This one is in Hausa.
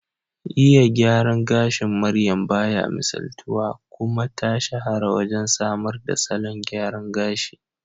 Iya gyaran gashin maryam baya misaltuwa, kuma ta shahara wajen samar da salon gyara gashi